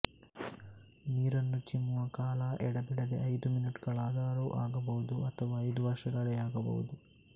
ನೀರನ್ನು ಚಿಮ್ಮುವ ಕಾಲ ಎಡೆಬಿಡದೆ ಐದು ಮಿನಿಟ್ಗಳಾದರೂ ಆಗಬಹುದು ಅಥವಾ ಐದು ವರ್ಷಗಳೇ ಆಗಬಹುದು